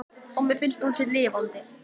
Og mér finnst að hún sé lifandi.